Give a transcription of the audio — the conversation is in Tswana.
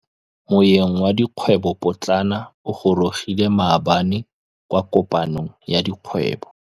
Moêng wa dikgwêbô pôtlana o gorogile maabane kwa kopanong ya dikgwêbô.